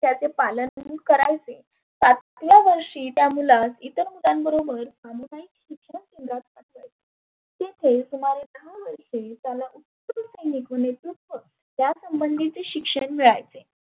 त्याचे पालन करायचे. पाचव्या वर्षी त्या मुलास इतर मुलांबरोबर तिथे सुमारे दहा वर्षे त्याला त्या संबधीचे शिक्षण मिळायचे.